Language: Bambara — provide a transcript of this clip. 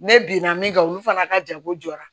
Ne binna min kan olu fana ka jago jɔra